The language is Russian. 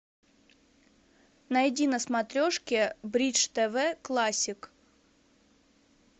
найди на смотрешке бридж тв классик